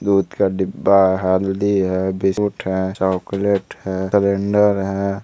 दूध का डिब्बा है हल्दी है बिस्कुट है चॉकलेट है कैलेंडर है।